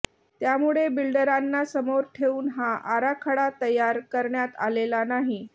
त्यामुळे बिल्डरांना समोर ठेऊन हा आराखडा तयार करण्यात आलेला नाही